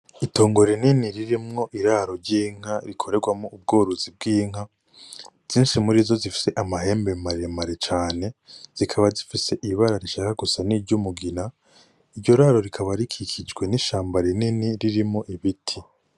Itongo rinini ririmwo iraro ry'inka rikorerwamo ubworozi bw'inka, zinshi muri zo zifise amahembe maremare cane zikaba zifise ibibara rishaka gusa n'iryumugina iryo raro rikaba rikikijwe n'ishamba rinini ririmwo ibiti.